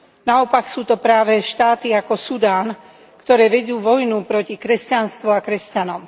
Naopak, sú to práve štáty ako Sudán, ktoré vedú vojnu proti kresťanstvu a kresťanom.